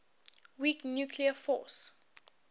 weak nuclear force